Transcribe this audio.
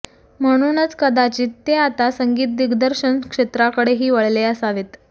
म्हणूनच कदाचित ते आता संगीत दिग्दर्शन क्षेत्राकडेही वळले असावेत